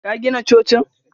Ka gina cocin?